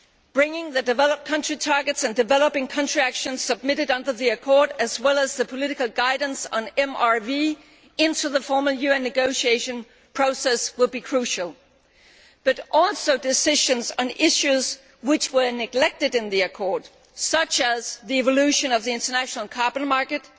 Bringing the developed country targets and developing country actions submitted under the Accord, as well as the political guidance on MRV, into the formal UN negotiation process will be crucial, but also decisions on issues which were neglected in the Accord, such as the evolution of the international carbon market,